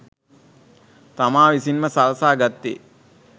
තමා විසින්ම සලසා ගත්තේ